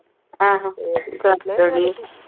ਆਹੋ ਚੱਲ